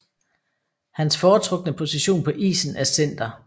Hans foretrukne position på isen er center